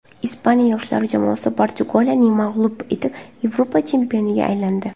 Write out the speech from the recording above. Ispaniya yoshlar jamoasi Portugaliyani mag‘lub etib, Yevropa chempioniga aylandi.